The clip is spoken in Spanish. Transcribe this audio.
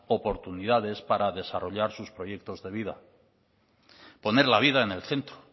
oportunidades para desarrollar sus proyectos de vida poner la vida en el centro